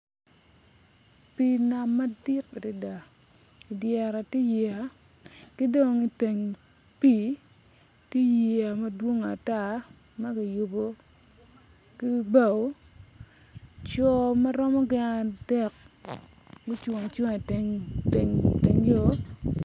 Pii nam madit adida dyere ti yiya ki dong iteng pii ti yiya madwongo ata ma giyubu ki bao co ma romo gin adek gucung acunga iteng yo